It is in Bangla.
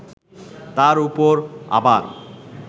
তার ওপর আবার